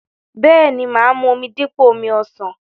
Bẹ́ẹ̀ni, mà á mu omi dípò omi ọsàn.